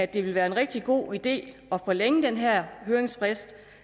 det vil være en rigtig god idé at forlænge den her høringsfrist